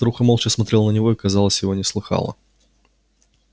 старуха молча смотрела на него и казалось его не слыхала